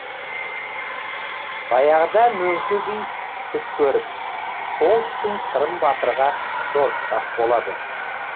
баяғыда мөңке би түс көріп сол түсін сырым батырға жорытпақ болады